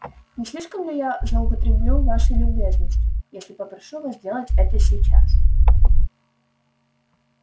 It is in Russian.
не слишком ли я злоупотреблю вашей любезностью если попрошу вас сделать это сейчас